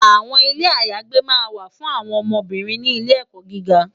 Awòn Ilé àyágbé wá fún áwòn óbìrín ni Ilè èkò gìgá